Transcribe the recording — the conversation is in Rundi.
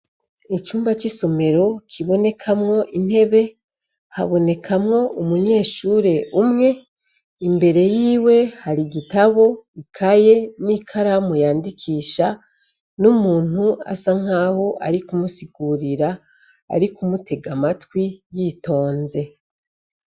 Icumba c'isomero kibonekamwo intebe, habonekamwo umunyeshuri umwe imbere yiwe har'igitabo, ikaye n'ikaramu yandikisha n'umuntu asa nkaho arikumusigurira arikumutega amatwi yitonze.